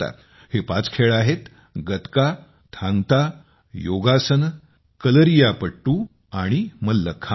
हे पाच खेळ आहेत गतका थांग ता योगासन कलरीपायट्टू आणि मल्लखांब